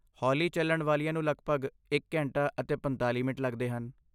ਹੌਲੀ ਚੱਲਣ ਵਾਲੀਆਂ ਨੂੰ ਲਗਭਗ ਇੱਕ ਘੰਟਾ ਅਤੇ ਪੰਤਾਲ਼ੀ ਮਿੰਟ ਲੱਗਦੇ ਹਨ